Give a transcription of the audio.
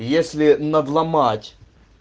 и если надломать